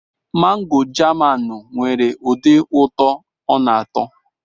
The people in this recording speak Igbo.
Mangoo Jamaanụ nwere ụdị ụtọ ọ na-atọ.